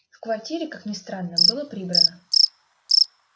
в квартире как ни странно было прибрано